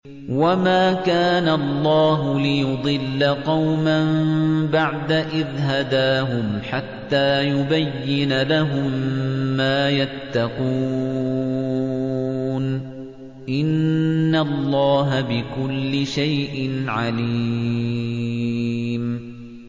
وَمَا كَانَ اللَّهُ لِيُضِلَّ قَوْمًا بَعْدَ إِذْ هَدَاهُمْ حَتَّىٰ يُبَيِّنَ لَهُم مَّا يَتَّقُونَ ۚ إِنَّ اللَّهَ بِكُلِّ شَيْءٍ عَلِيمٌ